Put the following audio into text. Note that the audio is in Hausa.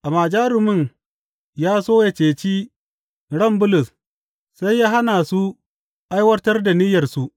Amma jarumin ya so yă ceci ran Bulus, sai ya hana su aiwatar da niyyarsu.